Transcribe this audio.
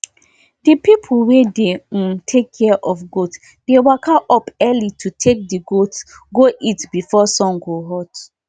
we dig well wey no deep inside the general field wey animal dey chop so we go get water during water during dry season